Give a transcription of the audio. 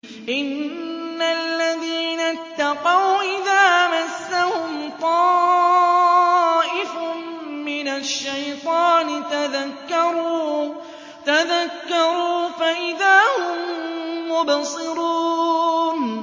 إِنَّ الَّذِينَ اتَّقَوْا إِذَا مَسَّهُمْ طَائِفٌ مِّنَ الشَّيْطَانِ تَذَكَّرُوا فَإِذَا هُم مُّبْصِرُونَ